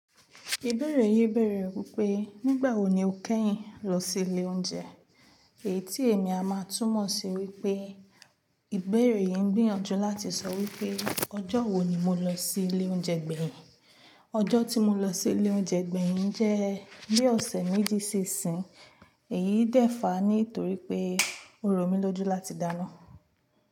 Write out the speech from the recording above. Ìbẹ̀rẹ̀ yi bere wípé “Nígbà wo ni o kẹ́yìn lọ sí ilé oúnjẹ?” Èyí tí èmi a máa tún mọ̀ sí wípé ìbẹ̀rẹ̀ yẹn ń gbìyànjú láti sọ wípé “Ọjọ́ wo ni mo lọ sí ilé oúnjẹ gbẹ̀yìn?” Ọjọ́ tí mo lọ sí ilé oúnjẹ gbẹ̀yìn jẹ́ bí ọ̀sẹ̀ méjì ṣi ṣín, èyí dẹ́fà ní torí pé orò mi lójú láti dáná.